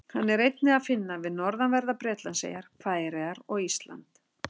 Hann er einnig að finna við norðanverðar Bretlandseyjar, Færeyjar og Ísland.